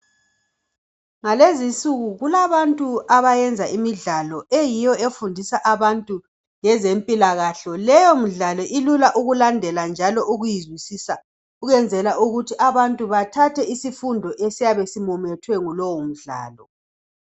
Ngalezinsuku kulabantu abayenza imidlalo eyiyo efundisa abantu ngezempilakahle. Leyo midlalo ilula ukulandela njalo ujuyizwisisa ukwenzela ukuthi abantu bathathe isifundo esiyabe simumethwe yilowo mdlalo.